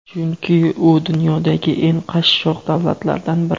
chunki u dunyodagi eng qashshoq davlatlardan biri.